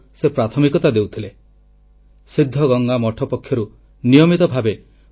ଲୋକମାନଙ୍କୁ କିଭଳି ଭୋଜନ ଆଶ୍ରୟ ଶିକ୍ଷା ଏବଂ ଆଧ୍ୟାତ୍ମିକ ଜ୍ଞାନ ମିଳିପାରିବ ସେଥିପାଇଁ ସେ ନିଜର ସଂପୂର୍ଣ୍ଣ ଜୀବନ ଉତ୍ସର୍ଗ କରିଦେଇଥିଲେ